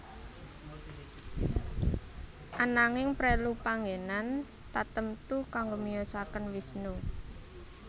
Ananging prelu panggenan tatemtu kangge miyosaken Wisnu